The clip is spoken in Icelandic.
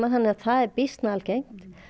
þannig að það er býsna algengt